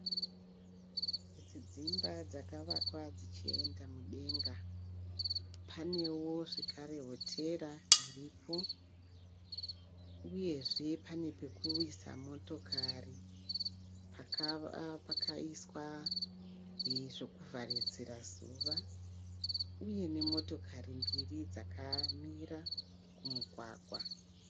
Idzi dzimba dzakavakwa dzichienda mudenga. Panewo zvekare hotera iripo uyezve pane pekuisa motokari pakaiswa zvekuvharidzira zuva uye nemotokari mbiri dzakamira kumugwagwa.